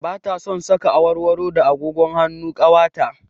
Ba ta son saka awarwaro da agogon hannu kwata